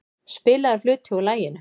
Spilaður hluti úr laginu.